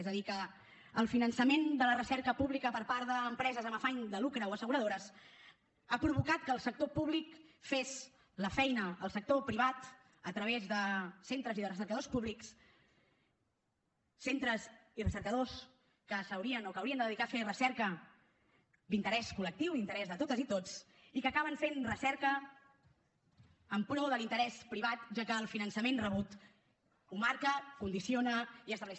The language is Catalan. és a dir que el finançament de la recerca pública per part d’empreses amb afany de lucre o asseguradores ha provocat que el sector públic fes la feina al sector privat a través de centres i de recercadors públics centres i recercadors que s’haurien o que haurien de dedicar a fer recerca d’interès col·lectiu d’interès de totes i tots i que acaben fent recerca en pro de l’interès privat ja que el finançament rebut ho marca condiciona i estableix